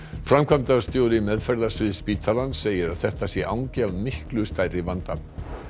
framkvæmdastjóri meðferðarsviðs spítalans segir að þetta sé angi af miklu stærri vanda